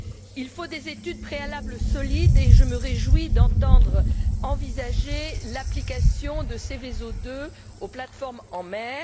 Il faut des études préalables solides et je me réjouis d'entendre envisager l'application de Seveso II aux plateformes en mer.